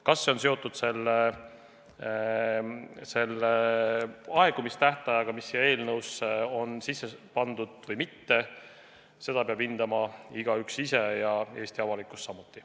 Kas see on seotud selle aegumistähtajaga, mis siia eelnõusse on kirja pandud, või mitte, seda peab hindama igaüks ise ja kogu Eesti avalikkus samuti.